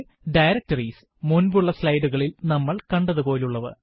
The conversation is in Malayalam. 2 Directories മുന്പുള്ള slide കളിൽ നമ്മൾ കണ്ടതുപോലെയുള്ളവ